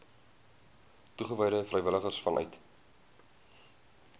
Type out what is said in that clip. toegewyde vrywilligers vanuit